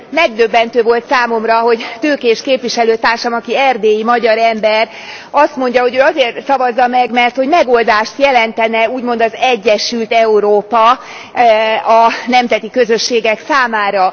Megdöbbentő volt számomra, hogy Tőkés képviselőtársam, aki erdélyi magyar ember, azt mondja, hogy ő azért szavazza meg, mert megoldást jelentene úgymond az egyesült Európa a nemzeti közösségek számára.